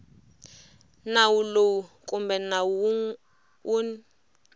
nawu lowu kumbe nawu wun